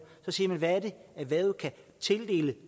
så siger man hvad er det erhvervet kan tildele